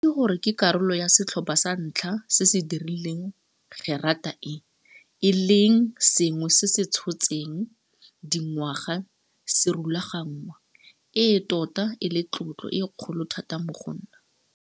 Go itse gore ke karolo ya setlhopha sa ntlha se se dirileng gerata e, e leng sengwe se se tshotseng dingwaga se rulaganngwa, e tota e le tlotlo e kgolo thata mo go nna.